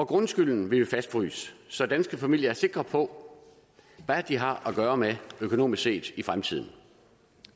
grundskylden vil vi fastfryse så danske familier er sikre på hvad de har at gøre med økonomisk set i fremtiden